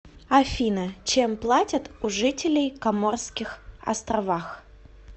афина чем платят у жителей коморских островах